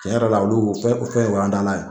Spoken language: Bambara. Cɛn yɛrɛ la olu fɛn fɛn o y'an taalan ye